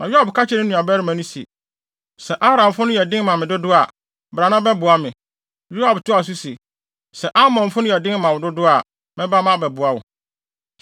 Na Yoab ka kyerɛɛ ne nuabarima no se, “Sɛ Aramfo no yɛ den ma me dodo a, bra na bɛboa me.” Yoab toaa so se, “Sɛ Amonfo no yɛ den dodo ma wo a, mɛba abɛboa wo.